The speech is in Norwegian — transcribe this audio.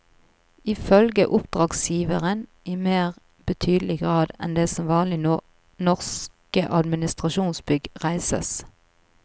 Ifølge oppdragsgiveren i mer betydelig grad enn det som vanlig når norske administrasjonsbygg reises.